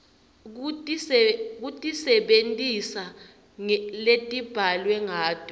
kutisebentisa letibhalwe ngato